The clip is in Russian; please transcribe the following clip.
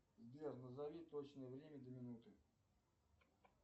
сбер назови точное время до минуты